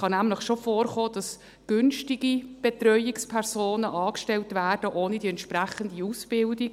Es kann nämlich schon vorkommen, dass günstige Betreuungspersonen angestellt werden, ohne die entsprechende Ausbildung.